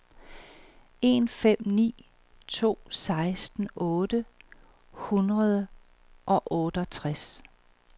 en fem ni to seksten otte hundrede og otteogtres